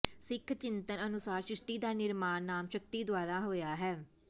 ਸਿੱਖ ਚਿੰਤਨ ਅਨੁਸਾਰ ਸ੍ਰਿਸ਼ਟੀ ਦਾ ਨਿਰਮਾਣ ਨਾਮ ਸ਼ਕਤੀ ਦੁਆਰਾ ਹੋਇਆ ਹੈ